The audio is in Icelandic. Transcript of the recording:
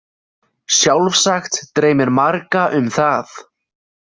Sjálfsagt dreymir marga um það.